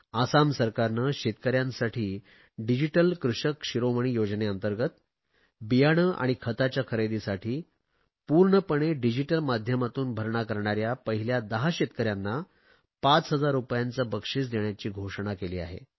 आसाम सरकारने शेतकऱ्यांसाठी डिजिटल कृषक शिरोमणी योजनेंतर्गंत बियाणे आणि खताच्या खरेदीसाठी पूर्णपणे डिजिटल माध्यमातून भरणा करणाऱ्या पहिल्या दहा शेतकऱ्यांना 5000 रुपयांचे बक्षिस देण्याची घोषणा केली आहे